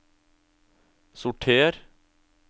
sorter